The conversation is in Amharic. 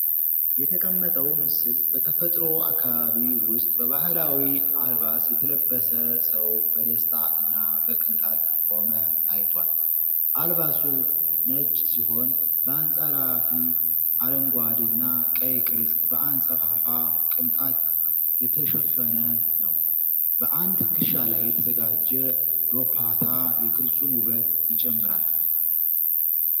የተቀመጠው ምስል በተፈጥሮ አካባቢ ውስጥ በባህላዊ አልባስ የተለበሰ ሰው በደስታ እና በቅንጣት ቆመ ታይቷል። አልባሱ ነጭ ሲሆን፣ በአንጸራፊ አረንጓዴና ቀይ ቅርጽ በአንጸፋፋ ቅንጣት የተሸፈነ ነው። በአንድ ትከሻ ላይ የተዘጋጀ ዶፓታ የቅርጹን ውበት ይጨምራል።